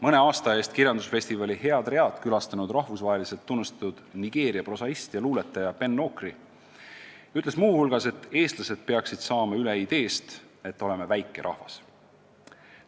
Mõne aasta eest kirjandusfestivali HeadRead külastanud rahvusvaheliselt tunnustatud Nigeeria prosaist ja luuletaja Ben Okri ütles muu hulgas, et eestlased peaksid saama üle kinnisideest, et nad on väike rahvas.